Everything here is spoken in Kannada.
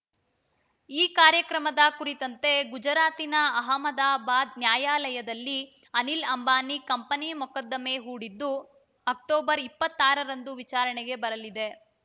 ಈ ಕಾರ್ಯಕ್ರಮದ ಕುರಿತಂತೆ ಗುಜರಾತಿನ ಅಹಮದಾಬಾದ್‌ ನ್ಯಾಯಾಲಯದಲ್ಲಿ ಅನಿಲ್‌ ಅಂಬಾನಿ ಕಂಪನಿ ಮೊಕದ್ದಮೆ ಹೂಡಿದ್ದು ಅಕ್ಟೋಬರ್ ಇಪ್ಪತ್ತಾರರಂದು ವಿಚಾರಣೆಗೆ ಬರಲಿದೆ